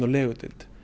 legudeild